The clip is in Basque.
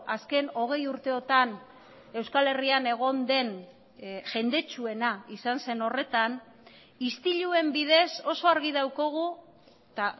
azken hogei urteotan euskal herrian egon den jendetsuena izan zen horretan istiluen bidez oso argi daukagu eta